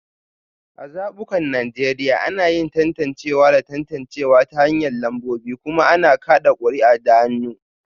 A zabukan Najeriya, ana yin tantancewa da tantancewa ta hanyar lambobi kuma ana kada kuri'a da hannu